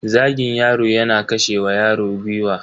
Zagin yaro yana kashe wa yaro gwiwa.